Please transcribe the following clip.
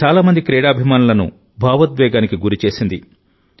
ఇది చాలా మంది క్రీడాభిమానులను భావోద్వేగానికి గురి చేసింది